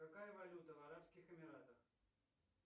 какая валюта в арабских эмиратах